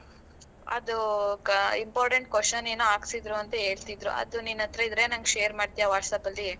ಅದೂ ಗ Important question ಏನೋ ಹಾಕ್ಸಿದ್ರು ಅಂತಾ ಹೇಳ್ತಿದ್ರು, ಅದು ನಿನ್ ಹತ್ರ ಇದ್ರೆ ನಂಗ್ share ಮಾಡ್ತಿಯಾ WhatsApp ಅಲ್ಲಿ?